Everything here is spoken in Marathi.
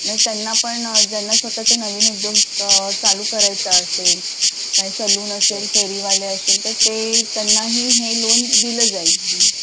त्यांना पण ज्यांना स्वतचं नवीन उद्योग चालू करायचा असेल लोन असेल फेरीवाले असेल तर ते त्यांना ही हे लोन दिलं जाईल